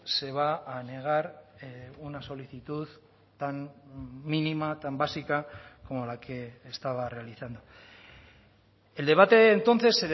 se va a negar una solicitud tan mínima tan básica como la que estaba realizando el debate entonces